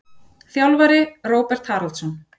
Þjálfari: Róbert Haraldsson.